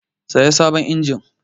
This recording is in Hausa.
Saya sabon injin!